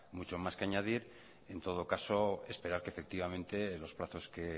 mucho más que añadir en todo caso esperar que efectivamente los plazos que